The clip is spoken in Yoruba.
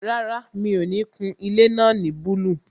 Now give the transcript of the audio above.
Rárá, mi ò ní kun ilé náà ní búlúù